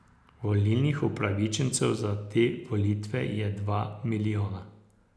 Volilnih upravičencev za te volitve je dva milijona.